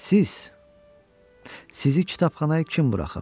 Siz, sizi kitabxanaya kim buraxıb?